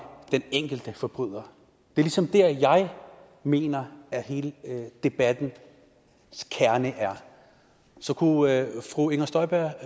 den enkelte forbryder det er ligesom det jeg mener er hele debattens kerne så kunne fru inger støjberg